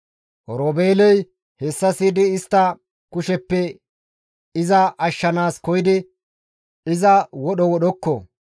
Oroobeeley hessa siyidi istta kusheppe iza ashshanaas koyidi, «Iza wodho wodhdhoko;